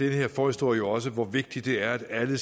her forhistorie jo også hvor vigtigt det er at alle